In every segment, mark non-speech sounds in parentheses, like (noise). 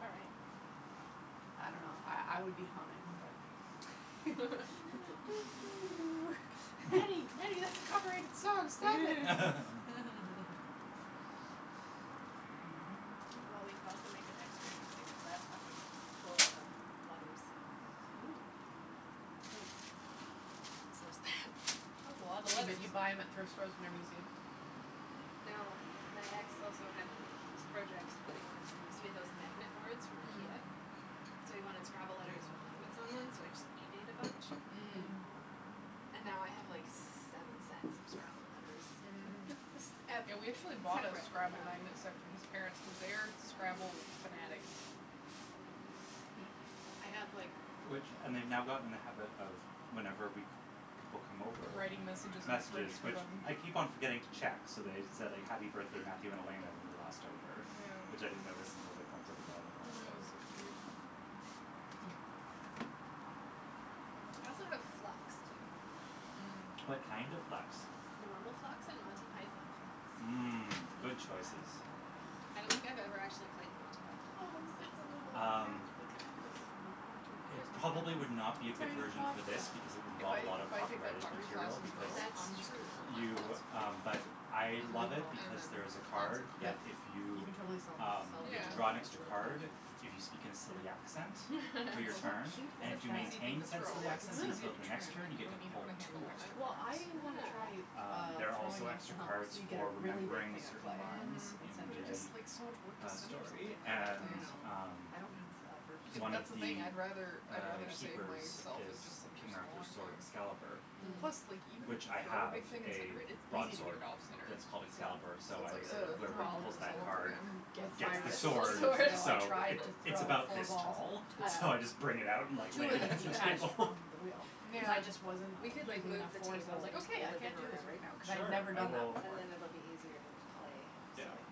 All right. I don't know, I I would be humming, but (laughs) (noise) Nattie, (laughs) Nattie, that's a copyrighted song, stop it! (laughs) (laughs) Well, we could also make it extra interesting cuz that's fucking full of (noise) (noise) letters. Ooh. (noise) So is that. That's a lotta You but letters. you buy them at thrift stores whenever you see them? No, my ex also had he this project that he wanted to do. So he had those magnet boards from Mm. Ikea, Mm. so he wanted Scrabble letters with magnets on them, so I just eBayed a bunch Mm. Mm. and now I have, like, seven sets of Scrabble letters. Mhm. S- ep- Yeah, we (laughs) actually bought a separate Scrabble from. magnet set for his parents cuz they are Scrabble fanatics. Hmm. I have, like Which and they've now gotten in the habit of, whenever we c- people come over, Writing messages on the fridge messages for which them. I keep on forgetting to check, so they said "happy birthday, Matthew and Elena" when we were last over, which Yeah. I didn't notice until they pointed it out on the last That was day. so cute. Hmm. I also have Flux, too, if we want to play What Mm. that. kind of Flux? Normal Flux and Monty Python Flux. I Mm, don't good I choices. don't know what any I don't think of I've these ever are. actually played the Monty Python Flux on Oh, look this at the little ca- Um, thing. the cactus in the winter it Christmas probably would not cactus. be a good Tiny version pot for for this because it that. would If involve a I lot if of I take that copyrighted pottery class material in because Turo, That's I'm just going true. to throw plant you, pots um, but I and That's a love then good it call. and because then there is a put plants in card them. that Yep. if You you, can totally sell them um, sell you it have for to more draw an when there's a extra Yeah. little plant card, in it. if you speak in a silly accent They're for your so It's so turn cute, cute And like if such you an that. easy (laughs) thing maintain to said throw, silly like, it's accent Mm. easier until to the next turn, right, turn, you you get to don't need to pull put a handle two on it. extra Well, cards. I wanna try, Oh. Um, uh, there are also throwing off the extra hump cards so you get a for really big remembering a thing of certain clay lines Mm, and in but it center it. just, like, so much work the, to uh, center something story like that, and, though. I know. um I don't have the upper Yeah, but One of strength. that's the thing. the, I'd rather uh, I'd rather save keepers myself That's is and just center King Arthur's smaller sword, things. Excalibur, Mm. Plus, like, Mhm. even if which you I throw a have big thing and center a it, it's easy to get broadsword it off center, that's called Yeah. Excalibur, so so it's I like, always say that oh, I whoever have Well, to do pulls this all that over card again. with Gets my gets the the wrist, actual two sword, weeks sword. ago I so tried it to it's throw about four this balls. tall, (laughs) so I just Yeah. bring it out and, like, lay Two it of them against the detached table. from the wheel cuz I just wasn't (laughs) Um. We Yeah. could, like, using enough move the force. I was table like, into okay, the I can't living do this right room. now, cuz I had Sure, never I done that will And before. then it'll be easier to So, play. Yeah. silly.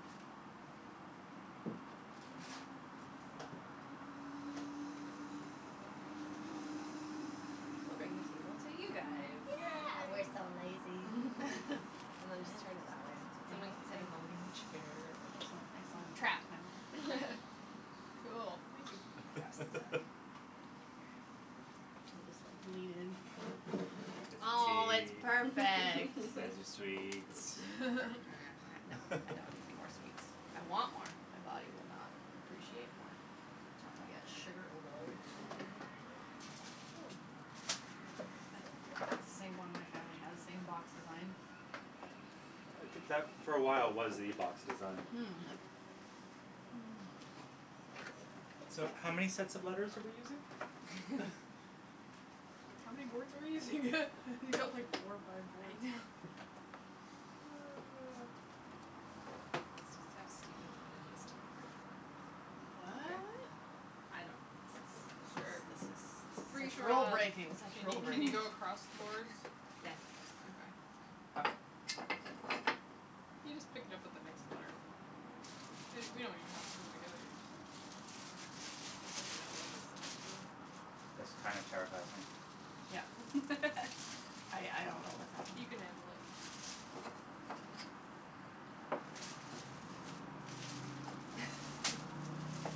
We'll bring the (noise) table to you guys. Yeah, we're Yay. so lazy. (laughs) (laughs) (laughs) And then just turn it that way. Someone Angle, can sit in the angle. living room chair and Excellent, excellent, trapped now. (laughs) Cool. Thank you. Now you're stuck. (laughs) I'll just like lean in. There's Oh, your it's tea. perfect. There's your sweets. (laughs) uh-huh, no, (laughs) I don't need anymore (laughs) sweets. I want more. My body will not appreciate more. It'll Oh. be at sugar overload. Mhm. That's the same one my family has, same box design. I think that for a while was the box design. Hmm. So, how many sets of letters are we using? (laughs) (laughs) How many boards are we using? (laughs) You've got like four or five I boards. know. Oh. Let's just have stupid fun on these two boards, then when we're all Okay. What? I don't know, This is this Sure. this is is this this is is free such for rule all. breaking, Can such you rule can you breaking. go across the boards? Yes. Okay. Ho- okay. You just pick it up with the next letter. We we don't even have to put them together, you just have you just have to know that it's the next row. This kind of terrifies me. (laughs) I I don't know what's happening. He can handle it.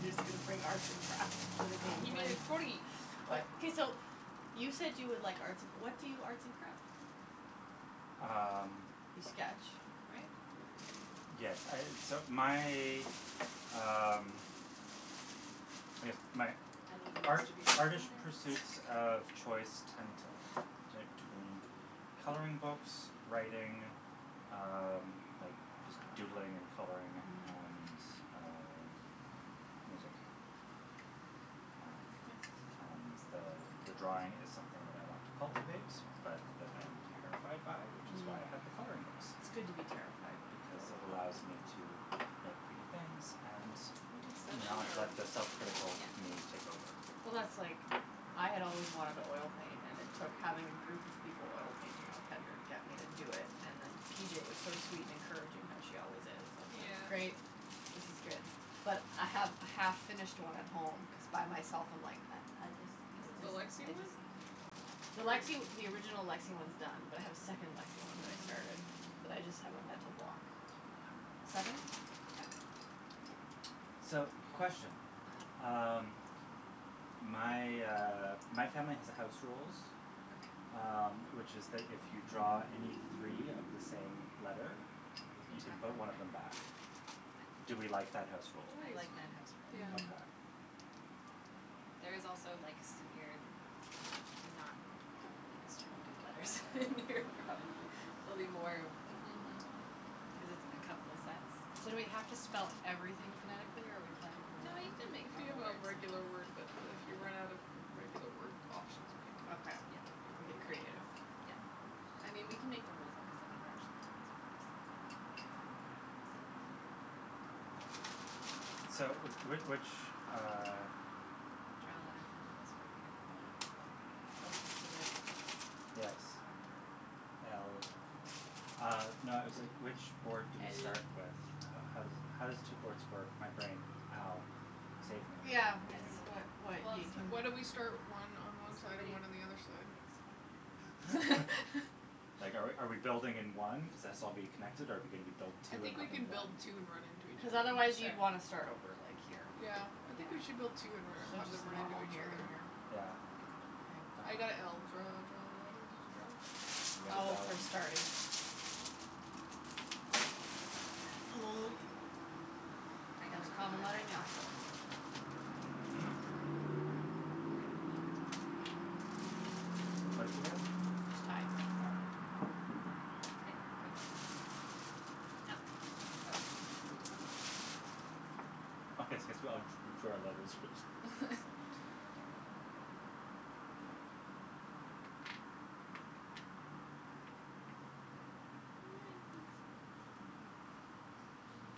He's just gonna bring arts and crafts to the game He made plan. a totey. I Okay, so, you said you would like arts and cr- what do you arts and craft? Um You sketch, right? Yes, I, (inaudible) so my, um, I guess my Uneven art- distribution of artish letters. pursuits of choice tend to to between coloring books, writing, um, like just doodling and coloring and, uh, music. Um, and the, uh, the the drawing is something that I want to cultivate, but that I am terrified by, which is why I have the Mhm. coloring books, It's good to be terrified for because a while. it allows me to make pretty things and (noise) We take seven not or let the self critical Yeah. me take over. Well, that's like, I had always wanted to oil paint and it took having a group of people oil painting on pender to get me to do it. And then P J was so sweet and encouraging, how she always is. I was like, Yeah. great, this is good. But I have a half finished one at home cuz by myself I'm like, I I just, I Is it the just, Lexie I one? just. The Lexie the original Lexie one's done, but I have a second Lexie one that I started, Mm. but I just have a mental block. Seven? Yeah. So, question. uh-huh. Um, my, uh, my family has a house rules, Okay. um, which is that if you draw any three of the same letter, You you can can chuck put one one of them back? back. I Do we like that house I think rule? I like that house so, yeah. rule. Okay. Mm. There is also like severe not properly distributed letters in here, probably. There'll be more Mhm. cuz it's a couple of sets. So do we have to spell everything phonetically, or are we playing No, normal you something can make If you normal have a words. regular word, but if you run out of regular word options, maybe. Okay. Yeah. You can do You can whatever get you want. creative. Yeah. Mm. I mean, we can make the rules up cuz I've never actually played this before, so we can just have K fun. So, w- which, uh Draw a letter for who goes fir- I got a b. Closest Okay. to the top Yes. of the alphabet. L Uh no, I was like, which board do we start with? L How how does it how does two boards work? My brain. Ow. Save me. Yeah, I it's don't what know. what Well, you can Why don't we start one on (laughs) one side and somebody one on the other side? picks one, I don't know. (laughs) (laughs) Like, are we are we building in one cuz its all'll be connected, or are we gonna be build I two and think we have them can build blend? two and run into each Cuz other. otherwise you'd Sure. want to start over, like, here. Yeah, I Yeah. think we should build two So, and let let them just run into normal each here and other. here? Yeah? Good call. I Okay. K. got l. Draw, draw a letter. Did you go? You guys Oh, all for in starting. (noise) I got a Most b common when letter I in the grabbed alphabet. one. Mm? I got a b that time. What'd you get? Tie. Yeah? I. Okay, go for it. Oh. Oh. Oh, yes yes, we all d- drew our letters which I saw. (laughs)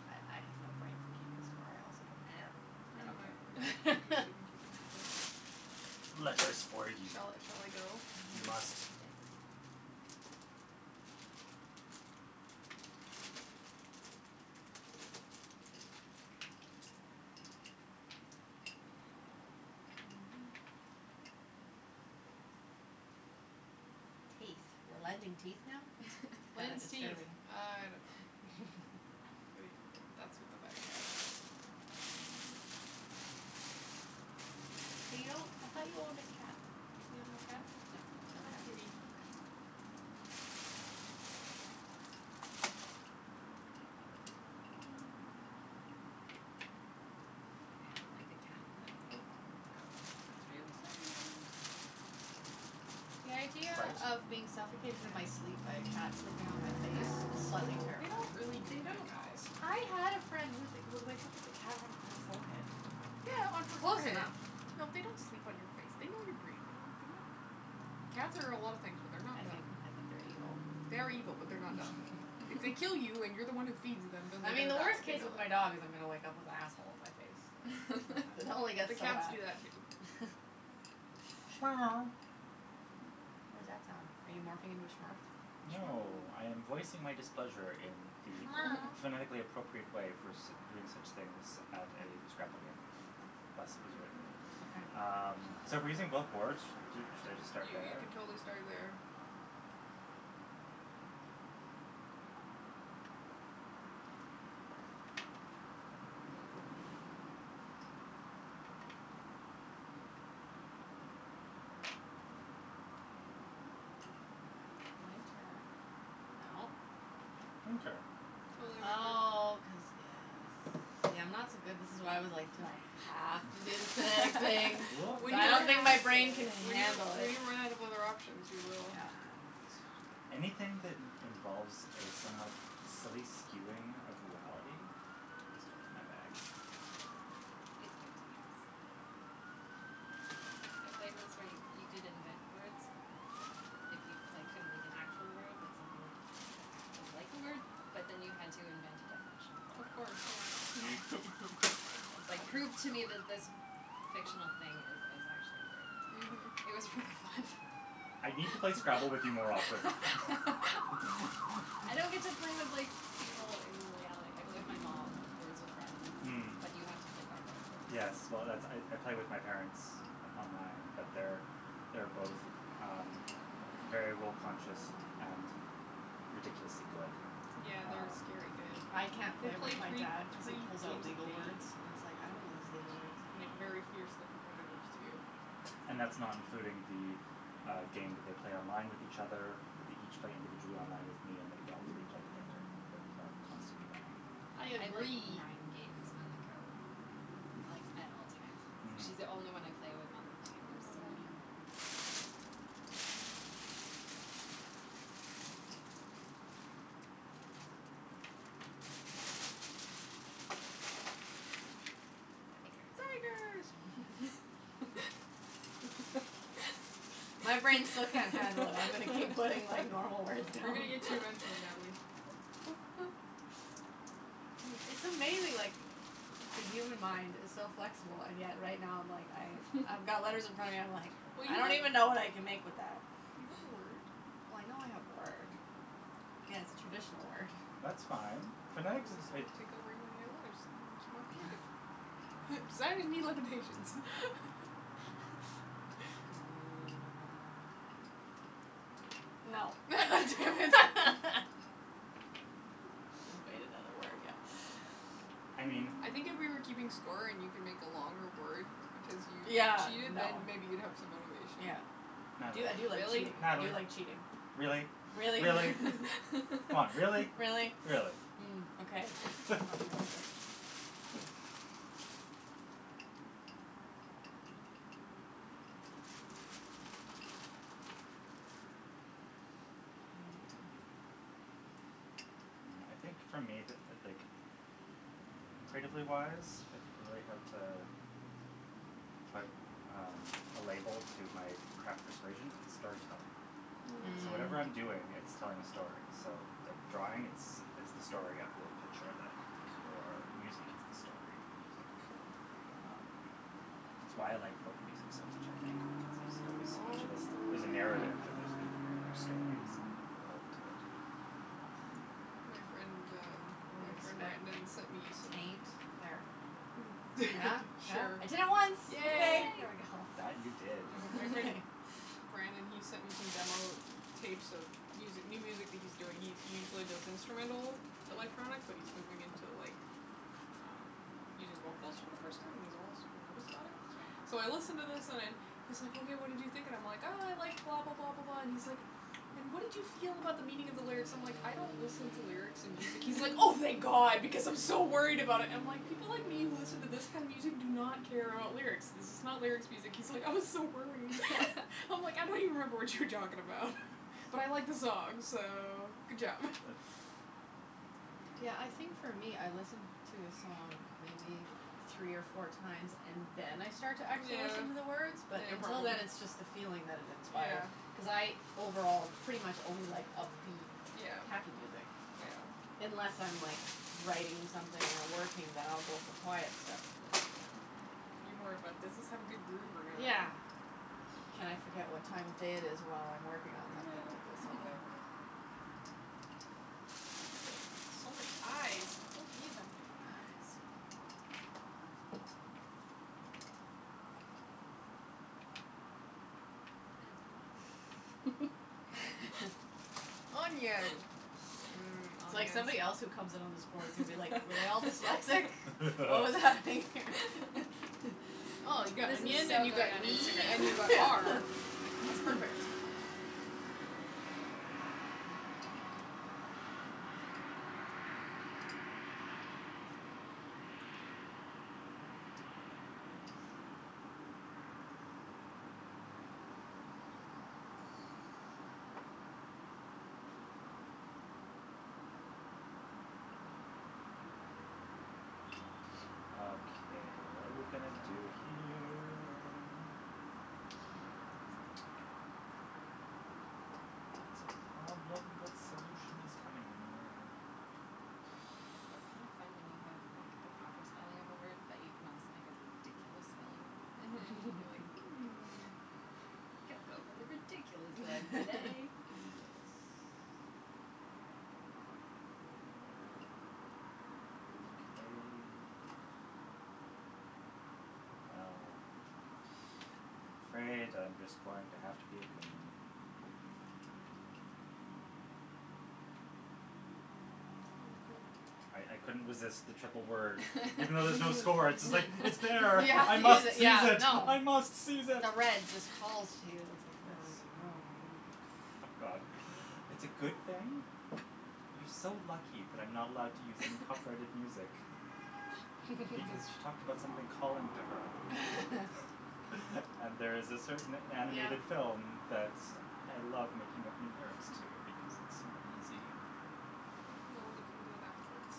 I I have no brain for keeping score. I also don't Eh, care. I I I don't don't don't know care care if (inaudible) Okay. we're either way. interested in keeping (laughs) score. Letters for you. Shall I shall I go? You must. Yes. (noise) (noise) Teeth? We're lending teeth now? That is Lends (laughs) teeth. disturbing. I don't know. Wait, (laughs) that's what the bag had. Ooh. (inaudible) You I thought you owned a cat. You have no cat? No. No kitty. Okay. (noise) (noise) I would like a cat, but Oh. Oh. Got got three of the same one. The idea Trout? of being suffocated in my sleep Yes. by a cat sleeping on my face is slightly They (laughs) don't terrifying. really do They that, don't all guys. do I had a that. friend who would wake up with a cat on her forehead. Yeah, on It's her close forehead. enough. No, they don't sleep on your face. They know you're breathing. They're not Cats are a lot of things, but they're not I think dumb. I think they're evil. They are evil, but they're not dumb. If they kill you and you're the (laughs) one who (laughs) feeds them, then they're I mean, gonna the die, worst they case know with my that. dog is I'm gonna wake up with asshole on my face. I Like, don't it know. only (laughs) The gets so cats bad. do that, too. (noise) What that sound? Are you morphing into a Smurf? No, I (noise) am voicing my displeasure in the phonetically (noise) appropriate way for (laughs) sit- doing such things at a Scrabble game. Thus Okay. it was written. (laughs) Okay. Um, so we're using both boards? Do should I just start You you there? can totally start there. Winter. No. Winter. Totally winter. Nice. Oh, cuz, yes. See, I'm not so good. This is why I was like, do I have to do the phonetic thing? (laughs) (laughs) We When I you're don't don't think my have (noise) brain can to. When you handle when it. you run out of other options, you will. Yeah. (inaudible) a bit. Anything that in- involves a somewhat silly skewing of reality is totally my bag. It's good times. Yeah. I played once where you could invent words if you, like, couldn't make an actual word but something that was like a word, but then you had to invent a definition for Of it. course, yeah. (laughs) Like, prove to me That's fun. that this (noise) fictional thing is is actually a word. It Mhm. was really fun. I need to play Scrabble with you more often. (laughs) I don't get to play (laughs) with, like, people (laughs) in reality. I play with my mom, Words With Friends, Mm. but you have to play by their rules. Yes. Well, that's I I play with my parents on- online, but they're, they're both, um, very rule conscious and ridiculously good. Yeah, they're Ah. Um scary good. I can't They play with play my three dad cuz he three pulls out games a legal day. words and it's like, I don't know Oh, these legal my words. gosh. And they're very fiercely competitives, too. (noise) And that's not including the, uh, game that they play online with each other, that they each play individually online with me and that we all three play together that are constantly running. I I have, like, agree. nine games on the go with my mom, Hmm. like, at all times. Mhm. She's the only one I play with on the thing and there's so many of (inaudible) them. Tigers. Tigers. My brain still can't handle it. I'm gonna keep putting like normal words We're gonna down. get to you eventually, Natalie. (laughs) (laughs) It's amazing, like, the human mind is so flexible, and yet right now I'm like I I've got letters in front of me, I'm like (laughs) Well, I you don't even when know what I can make with that. You got a word. Well, I know I have a word. Yeah, it's a traditional word. That's fine. Phonetic doesn't Just it gonna take (inaudible) your letters, make you more creative. Designers need limitations. (laughs) Mm. No. (laughs) Damn it. (laughs) (laughs) I just made another word, yeah. I mean I think if we were keeping score and you (noise) can make a longer word because you Yeah, cheated, then no. maybe you'd have some motivation. Yeah. I do I do like Natalie. Really? cheating, I Natalie, do like cheating. really? Really? Really? (laughs) Come on, really? Really? Really? (laughs) Mm, okay. (laughs) (inaudible) (noise) Mm. Mm. Well, I think for me, the like, creatively wise, if I really had to put, um, a label to my craft persuasion, it's storytelling. So whatever I'm Mm. doing, Mm. it's Mm. telling a story. So, like, drawing, it's it's the story of the picture that I like or music it's the story of the music. Um, Right. it's why I like folk music so much, I think, because there's always so much All of the it. story There's a (inaudible) narrative and there's meaning in their stories and there's a world to it. Mm. Um My friend, um, my friend Brandon sent me (inaudible) some Taint. There. Yeah? (laughs) Yeah? I did it Sure. once. Okay, Yay. Yay. there we go. That, you did. Uh my friend (laughs) (laughs) Brandon, he sent me some demo tapes of music new music that he's doing. He he usually does instrumental Mm. electronic, but he's moving into, like, um, using vocals for the first time and he's all super nervous about it. So I Right. listen to this and I'm he's like, hey, what did you think, and I'm like, I like blah, blah, blah, blah, blah, and he's like, and what did you feel about the meaning of the lyrics? So I'm, like, I don't listen to lyrics in music. He's like, oh, thank (laughs) god because I'm so worried about it. I'm like, people like me who listen to this kind of music do not care about lyrics, this is not lyrics music. He's like, I was so Yeah. worried. (laughs) I'm like, I don't even remember (laughs) what you were talking about, but I like the song, so, good job. Yeah, I think for me I listen to a song maybe three or four times and then I start to actually Yeah. listen to the words, but Yeah, until probably. then it's just the Mhm. feeling that it inspire. Yeah. Cuz I overall pretty much only like upbeat, Yeah. happy music, Right. Yeah. unless I'm like writing something or working, then I'll go for quiet stuff, but you know. Yeah. You're more about does this have a good groove or not? Yeah. Can I forget what time of day it is while I'm working on something Yeah, with this song. exactly. (laughs) Look at that. So many i's. I don't need that many i's. Onion. (laughs) (laughs) (laughs) Onion. Mmm, It's like onions. somebody else who comes in on this board is gonna be like, were they all dyslexic? (laughs) What was happening (laughs) here? (laughs) (laughs) Oh, you got This is onion so and you got going on knee Instagram and you got afterwards. are. That's perfect. (laughs) Okay, what are we gonna do here? It's a problem that solution is coming near. It's kind of (noise) fun when you have, like the proper spelling of a word but you can also make a ridiculous spelling of the word. Mhm, you're like, (laughs) hmm. I think I'll go for the ridiculous one today. (laughs) Yes. (laughs) Okay. Well, (noise) I'm afraid I'm just going to have to be a goon. Sounds good. I I couldn't resist the triple word. Even though there's no score, it's like, it's there, Yeah, I must (laughs) seize yeah, it, no. I must seize it. No, red just calls you, it's like Yes. (noise) God, it's a good thing. You're so lucky that I'm not allowed to use any copyrighted music (laughs) because she talked about (laughs) something calling to her. (laughs) (laughs) And there's a certain Yeah. animated film that's I love making up new lyrics to (laughs) because it's so easy. Well, we can do it afterwards.